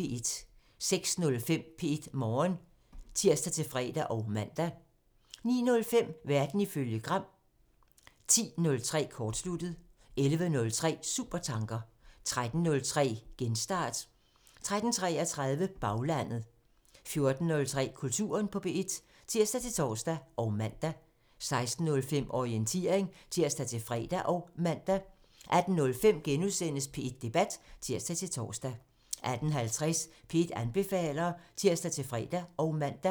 06:05: P1 Morgen (tir-fre og man) 09:05: Verden ifølge Gram (tir) 10:03: Kortsluttet (tir) 11:03: Supertanker (tir) 13:03: Genstart (tir-fre og man) 13:33: Baglandet (tir) 14:03: Kulturen på P1 (tir-tor og man) 16:05: Orientering (tir-fre og man) 18:05: P1 Debat *(tir-tor) 18:50: P1 anbefaler (tir-fre og man)